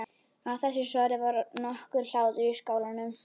Af þessu svari varð nokkur hlátur í skálanum.